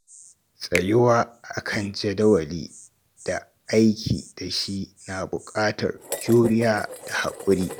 Tsayuwa akan jadawali da aiki da shi na buƙatar juriya da haƙuri.